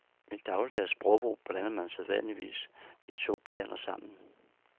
I dagligdags sprogbrug blander man sædvanligvis de to planer sammen.